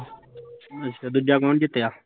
ਅੱਛਾ ਦੂਜਾ ਕੋਣ ਜਿੱਤਿਆ